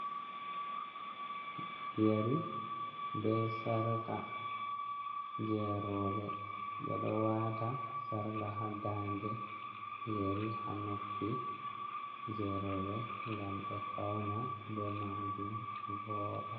Yeri be sarka je rowɓe. Ɓe ɗo wata sarka haa nda nde, yeri haa noppi, je rowɓe ngam ɓe fauna ɓe majum ɓe voda.